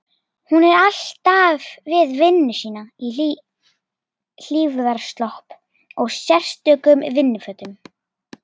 Hún er alltaf við vinnu sína í hlífðarslopp og sérstökum vinnufötum.